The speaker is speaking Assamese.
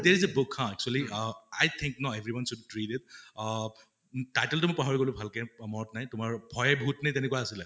যে হা actually ৱ i think ন, everyone should it . অ title তো পাহৰি গʼলো মই ভাল কে, তোমাৰ মনত নাই । ভয়ে ভুত নে তেনেকুৱা আছিলে ।